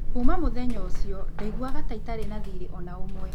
Kuuma mũthenya ũcio, ndaiguaga ta itarĩ na thiirĩ o na ũmwe.